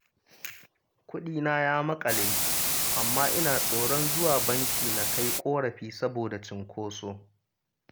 Kuɗina ya maƙale, amma ina tsoron zuwa banki na kai ƙorafi, saboda cinkoso